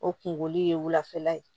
O kungolo ye wulafɛla ye